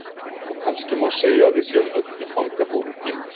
Og kannski má segja að við séum öll í fangabúðum tímans.